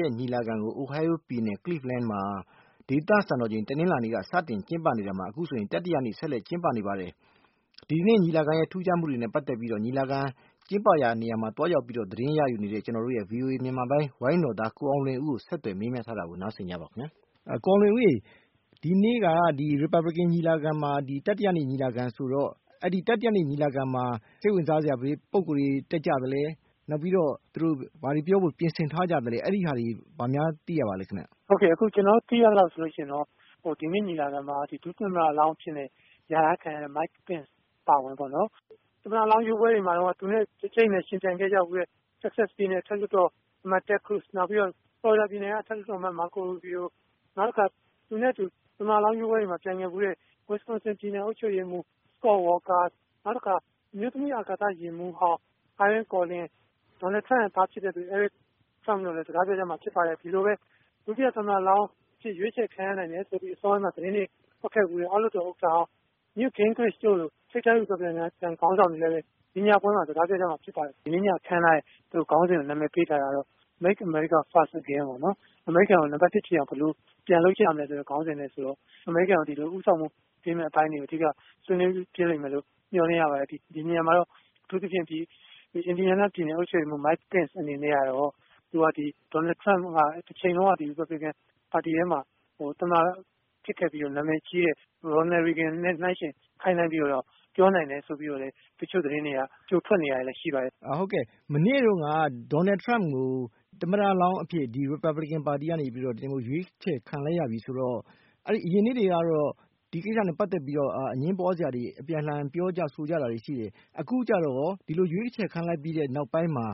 ရဲ့ ညီလာခံကို Ohio ပြည်နယ် Cleveland မှာ ဒေသစံတော်ချိန် တနင်္လာနေ့က စတင်ကျင်းပနေရာမှာ အခုဆိုရင် တတိယမြောက်နေ့အဖြစ် စတင်ကျင်းပနေပါတယ်။ ဒီကနေ့ ညီလာခံရဲ့ ထူးခြားမှုတွေနဲ့ ပတ်သက်ပြီးတော့ ညီလာခံကျင်းပရာနေရာမှာ သွားရောက် သတင်းယူနေတဲ့ ဗွီအိုအေမြန်မာပိုင်းဌာနက ဝိုင်းတော်သား ကိုအောင်လွင်ဦးကို ဦးစံမိုးေ၀ က ဆက်သွယ်မေးမြန်းထားပါတယ်။ ကိုအောင်လွင်ဦးရေ - ဒီနေ့က ဒီ ရီပတ်ဘလစ်ကန် ညီလာခံမှာ တတိယနေ့ ညီလာခံဆိုတော့ စိတ်ဝင်စားစရာ ဘယ်ပုဂ္ဂိုလ်တွေ တက်ကြသလဲ။ နောက်ပြီးတော့ ဘာတွေပြောဖို့ ပြင်ဆင်ထားကြသလဲ။ အဲဒီဟာတွေ ဘာများ သိရသလဲ ခင်ဗျ။ ဟုတ်ကဲ့။ ကျနော်တို့သိရသလောက် ဆိုရင်တော့ ဒီညီလာခံမှာ ဒုတိယ သမ္မတလောင်း အဖြစ် လျာထားခံရတဲ့ Mike Pence အပါအဝင်ပေါ့။ သမ္မတလောင်း ရွေးပွဲတွေတုန်းက သူနဲ့ အကြိတ်အနယ် ယှဉ်ပြိုင်ခဲ့ဖူးတဲ့ Texas ပြည်နယ် အမတ်လောင်း Ted Cruz၊ နောက် Florida ပြည်နယ်က Marco Rubio၊ နောက်တစ်ခါ သူနဲ့ သမ္မတလောင်းရွေးပွဲမှာ ဝင်ပြိုင်ဖူးတဲ့ Wisconsin ပြည်နယ်က အုပ်ချုပ်ရေးမှူး Scot Walker၊ နောက်တခါ အမျိုးသမီး အာကာသယာဉ်မှူးဟောင်း၊ Ilene Collins၊ ဒေါ်နယ်ထရမ့်ရဲ့ သား Eric Trump တို့က စကားပြောကြမှာ ဖြစ်ပါတယ်။ ဒီလိုပဲ ဒုတိယသမ္မတလောင်းအဖြစ် ရွေးုချယ်ခံရနိုင်တယ်ဆိုပြီး အစောပိုင်းမှာ သတင်းတွေထွက်ခဲ့ဖူးတဲ့ အောက်လွှတ်တော်ဥက္ကဌဟောင်း Newt Gingrich တို့လို ထိပ်တန်း ရီပတ်ဘလစ်ကန် ခေါင်းဆောင်တွေလည်း အခုညပွဲမှာ စကားပြောကြမှာ ဖြစ်ပါတယ်။ ဒီနေ့ည အခမ်းအနားကို သူတို့ နာမည်ပေးထားတာကတော့ Make America First again ပေါ့နော်။ အမေရိကန်ကို နပါတ် ၁ ဖြစ်အောင် ဘယ်လိုပြန်လုပ်ကြမလဲ ဆိုတော့ အမေရိကန်ကို ဦးဆောင်မှုပေးမယ့် အပိုင်းတွေကို အဓိက ဆွေးနွေးဖြစ်လိမ့်မယ်လို့ မျှော်လင့်ရပါတယ်။ ဒီနေရာမှာတော့ အထူးသဖြင့် Indiana ပြည်နယ် အုပ်ချုပ်ရေးမှူး Mike Pence အနေနဲ့ကတော့၊ ဒေါ်နယ်ထရမ့်က ရီပတ်ဘလစ်ကန်ပါတီထဲမှာ သမ္မတဖြစ်ခဲ့ပြီး၊ တချိန်တုန်းက နာမည်ကြီးခဲ့ဖူးတဲ့ ရော်နယ်ရေဂင်နဲ့ နှိုင်းယှဉ်ခိုင်းနှိုင်းပြီးတော့ ပြောနိုင်တယ် ဆိုပြီးတော့ သတင်းတွေ ကြိုထွက်နေတာ ရှိပါတယ်။ ဟုတ်ကဲ့။ မနေ့တုန်းက ဒေါ်နယ်ထရမ့်ကို သမ္မတလောင်းအဖြစ် ရီပတ်ဘလစ်ကန် ပါတီကနေ ရွေးချယ်ခံလိုက်ရပြီဆိုတော့၊ အရင်နှစ်တွေကတော့ ဒီကိစ္စနဲ့ပတ်သက်ပြီး အငြင်းပွားစရာတွေ အပြန်အလှန် ပြောဆိုခဲ့ကြတာတွေ ရှိပါတယ်။ အခုကျတော့ရော ဒီလို ရွေးချယ်ခံလိုက်ပြီး နောက်ပိုင်းမှာ